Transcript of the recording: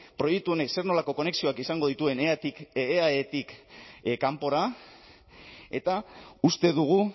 proiektu honek zer nolako konexioak izango dituen eaetik kanpora eta uste dugu